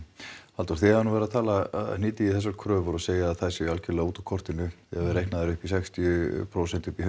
Halldór þið hafið nú verið að hnýta í þessar kröfur og segja að þær séu algjörlega út úr kortinu þegar reiknað er upp í sextíu prósent